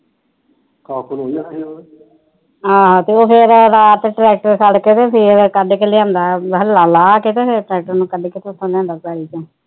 ਹਾ ਤੇ ਉਹ ਫਿਰ ਰਾਤ ਟਰੈਕਟਰ ਸੱਡ ਕੇ ਤੇ ਫਿਰ ਕੱਢ ਕੇ ਲੈਕੇ ਆਂਦਾ ਹੱਲਾਂ ਲਾਹ ਕੇ ਤੇ ਫਿਰ ਟਰੈਕਟਰ ਨੂੰ ਉਥੋ ਲੈਂਦਾ ਪੈਲੀ ਚੋ